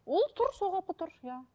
ол тұр сол қалпы тұр иә